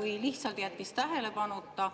või lihtsalt jättis need tähelepanuta.